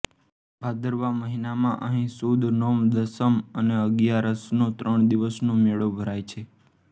ભાદરવા મહિનામાં અહીં સુદ નોમ દસમ અને અગિયારસનો ત્રણ દિવસનો મેળો ભરાય છે